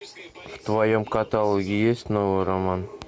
в твоем каталоге есть новый роман